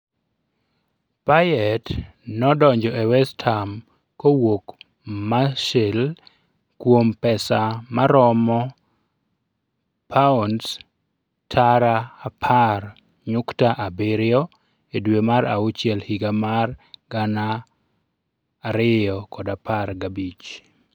Payet nodonjo e West Ham kowuok Marseille kuom pesa maromo £10.7 milion e dwe mar auchiel higa mar 2015.